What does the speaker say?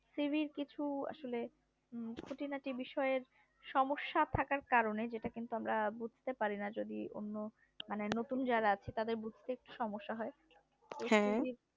CV এর কিছু আসলে খুঁটিনাটি বিয়ষয়ে সমস্যা থাকার কারণে যেটা কিন্তু আমরা বুঝতে পারিনা যদি অন্য মানে নতুন যারা আছে তাদের বুঝতে একটু সমস্যা হয়